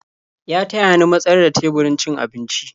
Ya taya ni matsar da teburin cin abinci.